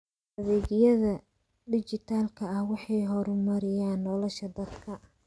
Adeegyada dijitaalka ah waxay horumariyaan nolosha dadka.